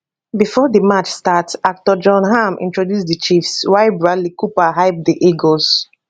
bifor di match start actor jon hamm introduce di chiefs while bradley cooper hype di eagles